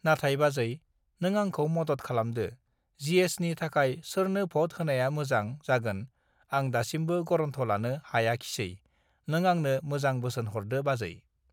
नाथाय बाजै नों आंखौ मदद खालामदो जि एस नि थाखाय सोरनो भत होनाया मोजां जागोन आं दासिमबो गरन्थ लानो हायाखिसै नों आंनो मोजां बोसोन हरदो बाजै